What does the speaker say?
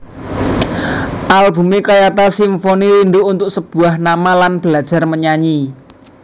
Albume kayata Simfoni Rindu Untuk Sebuah Nama lan Belajar Menyanyi